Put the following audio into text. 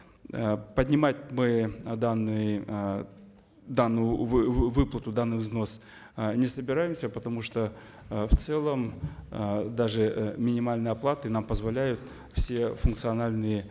э поднимать мы э данный э данную выплату данных взносов э не собираемся потому что э в целом э даже э минимальные оплаты нам позволяют все функциональные